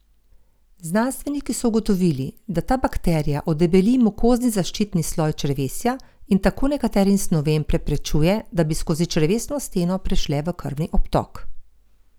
Znanstveniki so ugotovili, da ta bakterija odebeli mukozni zaščitni sloj črevesja in tako nekaterim snovem preprečuje, da bi skozi črevesno steno prešle v krvni obtok.